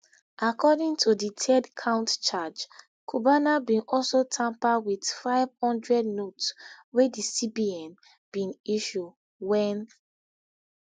according to di third count charge cubana bin also tamper wit nfive hundred notes wey di cbn bin issue wen